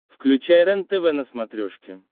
включай рентв на смотрешке